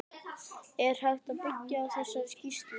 Er hægt að byggja á þessari skýrslu?